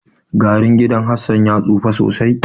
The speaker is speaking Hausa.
Garun gidan Hassan ya tsufa sosai.